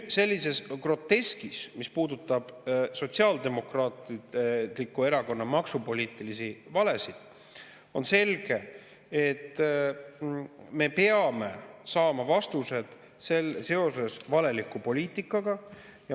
Sellise groteski tõttu, mis puudutab Sotsiaaldemokraatliku Erakonna maksupoliitilisi valesid, on selge, et me peame saama vastused seoses valeliku poliitikaga.